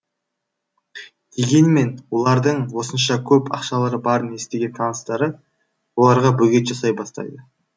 дегенмен олардың осынша көп ақшалары барын естіген таныстары оларға бөгет жасай бастайды